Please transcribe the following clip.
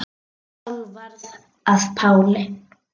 Og Sál varð að Páli.